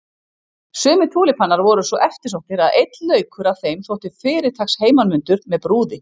Sumir túlípanar voru svo eftirsóttir að einn laukur af þeim þótti fyrirtaks heimanmundur með brúði.